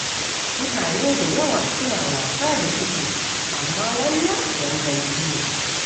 Mutane da yawa suna wasa da cikinsu, amma wannan ganganci ne.